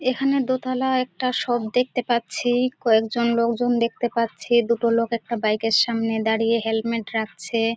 এখানে দোতলা একটা শপ দেখতে পাচ্ছি কয়েকজন লোকজন দেখতে পাচ্ছি দুটো লোক একটা বাইকের সামনে দাঁড়িয়ে হেলমেট রাখছে-এ।